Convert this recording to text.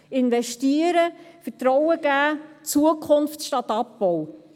Investieren, Vertrauen geben, Zukunft statt Abbau: